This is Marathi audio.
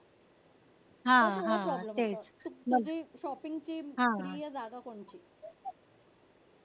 तुझी shopping ची प्रिय जागा कोणती? करते ग